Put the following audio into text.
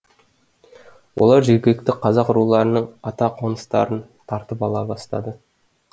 олар жергілікті қазақ руларының ата қоныстарын тартып ала бастады